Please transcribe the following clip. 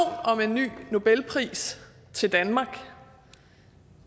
om en ny nobelpris til danmark